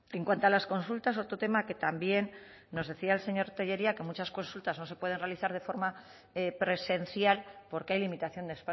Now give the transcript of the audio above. en cuanto a las consultas otro tema que también nos decía el señor tellería que muchas consultas no se pueden realizar de forma presencial porque hay limitación de